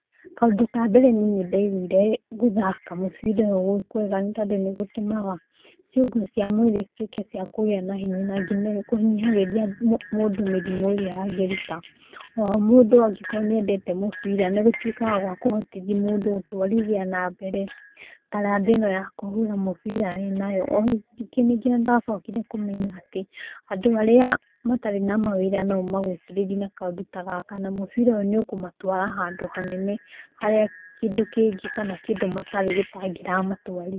Kaũndũ kambere niĩ nĩ ndaigũire gũthaka mũbira ũyũ gwĩkwega tondũ nĩ gũtũmaga irũngo cia mwĩrĩ cituĩke cia kũgĩa na hinya na ngina kũnyihagĩria mũndũ mĩrimũ ĩrĩa angĩruta. Oho mũndũ angĩkorwo nĩendete mũbira nĩ atũĩkaga wa kũhotithia mũndũ gũthiĩ nambere taranda ĩno ya kũhũra mũbira wĩnayo. O rĩngĩ nĩ ndacokire kũmenya atĩ, andũ arĩa matarĩ na mawĩra no ũmagucĩrĩrie na kaũndũ ta gaka, na mũbira ũyũ nĩ ũkũmatwara handũ hanene harĩa kĩndũ kĩngĩ kana kĩndũ matarĩ gĩtangĩramatwarire.